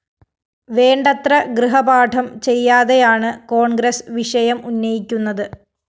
വേണ്ടത്ര ഗൃഹപാഠം ചെയ്യാതെയാണ് കോണ്‍ഗ്രസ് വിഷയം ഉന്നയിക്കുന്നത്